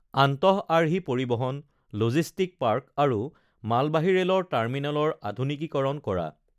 আন্তঃআৰ্হি পৰিবহন, logistic park আৰু মালবাহী ৰেলৰ টাৰ্মিনেলৰ আধূনিকীকৰণ কৰা